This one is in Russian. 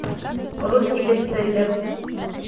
русский бестселлер